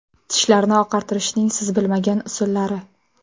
Tishlarni oqartirishning siz bilmagan usullari.